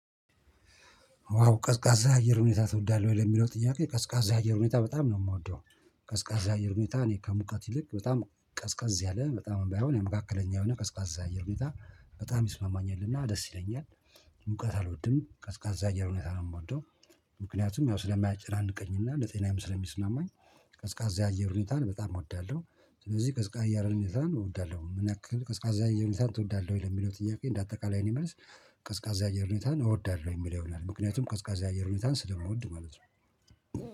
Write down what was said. ዋው ቀዝቃዛ አየር ሁኔታ ትወዳለህ ወይ ለሚለው ጥያቄ? ቀዝቃዛ አየር ሁኔታ በጣም ነው እምወደው። ቀዝቃዛ አየር ሁኔታ እኔ ከሙቀት ይልቅ በጣም ቀዝቀዝ ያለ በጣም ባይሆን መካከለኛ የሆነ ቀዝቃዛ የአየር ሁኔታ በጣም ይስማማኛልና ደስ ይለኛል። ሙቀት አልወድም ቀዝቃዛ አየር ሁኔታ ነው እምወደው። ምክንያቱም ያው ስለማያጨናንቀኝ እና ለጤናዬም ስለሚስማማኝ። ቀዝቃዛ የአየር ሁኔታን በጣም እወዳለሁ። ስለዚህ ቀዝቃዛ የአየር ሁኔታን እወዳለሁ። ምን ያክል ቀዝቃዛ አየር ሁኔታን ትወዳለህ ወይ ለሚለው ጥያቄ? እንደ አጠቃላይ የእኔ መልስ። ቀዝቃዛ የአየር ሁኔታን እወዳለሁ የሚለው ይሆናል ምክንያቱም ቀዝቃዛ አየር ሁኔታን ስለምወድ ማለት ነው